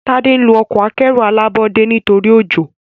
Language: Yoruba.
Tade nlọ Ọkọ̀ akẹ́rù alábọ́dé nítorí ojó.